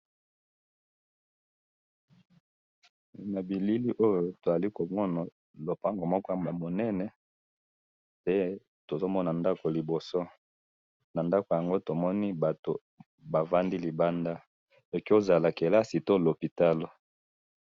Na bilili oyo tomoni lopango moko ya munene, pe tozomona ndako liboso na ndako yango tomoni bato bafandi libanda ekoki kozala kelasi to lopitalo .